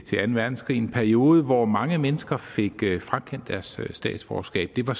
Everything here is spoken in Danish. til anden verdenskrig en periode hvor mange mennesker fik frakendt deres statsborgerskab det var